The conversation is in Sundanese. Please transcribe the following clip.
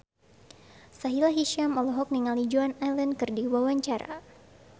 Sahila Hisyam olohok ningali Joan Allen keur diwawancara